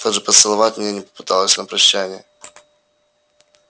даже поцеловать меня не попыталась на прощанье